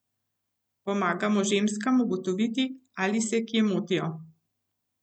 Pomagamo ženskam ugotoviti, ali se kje motijo.